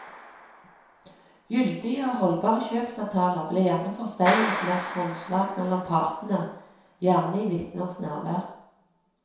Gyldige og holdbare kjøpsavtaler ble gjerne forseglet med et håndslag mellom partene, gjerne i vitners nærvær.